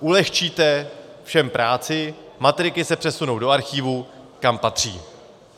Ulehčíte všem práci, matriky se přesunou do archivu, kam patří.